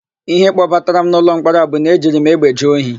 Íhé kpọbatara m n'ụlọmkpọrọ a bụ na e jiri m egbe jee ohi.